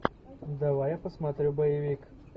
давай я посмотрю боевик